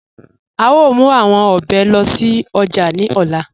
À ó mú awọn òbè lóṣì ojá ní òlà.